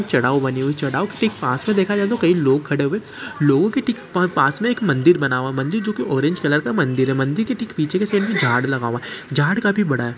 चढ़ाव बनी हुई हैचढ़ाव ठीक पास में देखा जाए तो कई लोग खड़े हुए लोगों की पास में एक मंदिर बना हुआ मंदिर जो की ऑरेंज कलर का मंदिर है मंदिर की टिक पीछे के साइड में झाड़ लगा हुआ हैझाड़ काफी बड़ा है।